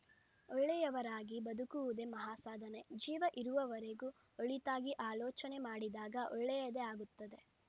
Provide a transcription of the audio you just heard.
ಒಳ್ಳೆಯವರಾಗಿ ಬದುಕುವುದೇ ಮಹಾಸಾಧನೆ ಜೀವ ಇರುವವರೆಗೂ ಒಳಿತಾಗಿ ಆಲೋಚನೆ ಮಾಡಿದಾಗ ಒಳ್ಳೆಯದೇ ಆಗುತ್ತದೆ